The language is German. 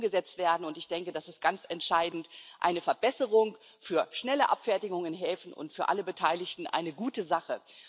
Und sie wird dann umgesetzt werden, und ich denke, das ist ganz entscheidend, eine Verbesserung für schnelle Abfertigung in Häfen und für alle Beteiligten eine gute Sache.